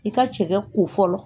I ka cɛkɛ ko fɔlɔ